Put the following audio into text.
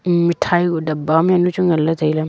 um meethai kuh dapba nu yamchu nganley tailey.